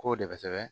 K'o de bɛ kosɛbɛ